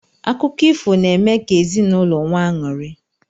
Akụkọ ifo n'eme ka ezinụlọ nwee aṅụri.